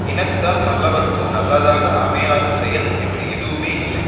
இனத்தால் நல்லவர்க்கோ நல்லதாக அமையாத செயல் என்று எதுவுமே இல்லை